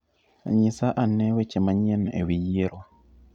Nyisa ane weche manyien e wi yiero.